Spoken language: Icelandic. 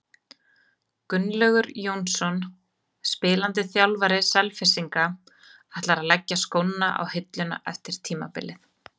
Gunnlaugur Jónsson, spilandi þjálfari Selfyssinga, ætlar að leggja skóna á hilluna eftir tímabilið.